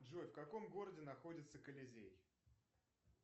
джой в каком городе находится коллизей